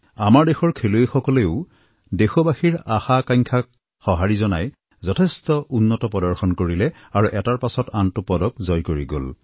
আমাৰ দেশৰ খেলুৱৈসকলেও দেশবাসীৰ আশাআকাংক্ষাক সঁহাৰি জনাই যথেষ্ট উন্নত প্ৰদৰ্শন কৰিলে আৰু এটাৰ পিছত আনটো পদক জয় কৰি গল